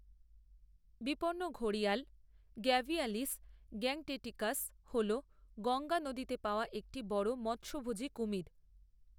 বিপন্ন ঘড়িয়াল gavialis gangeticus হল গঙ্গা নদীতে পাওয়া একটি বড় মৎসভোজী কুমির।